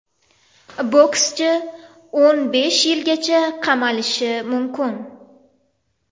Bokschi o‘n besh yilgacha qamalishi mumkin.